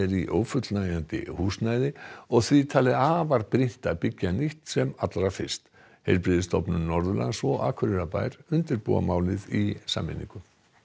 í ófullnægjandi húsnæði og því talið afar brýnt að byggja nýtt sem allra fyrst heilbrigðisstofnun Norðurlands og Akureyrarbær undirbúa málið í sameiningu